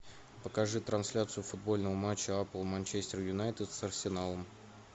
покажи трансляцию футбольного матча апл манчестер юнайтед с арсеналом